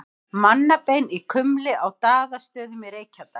Mannabein í kumli á Daðastöðum í Reykjadal.